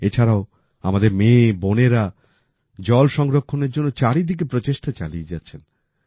এছাড়াও আমাদের মেয়ে বোনেরা জল সংরক্ষণের জন্য চারিদিকে প্রচেষ্টা চালিয়ে যাচ্ছেন